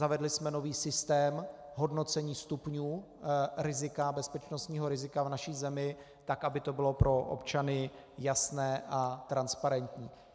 Zavedli jsme nový systém hodnocení stupňů bezpečnostního rizika v naší zemi tak, aby to bylo pro občany jasné a transparentní.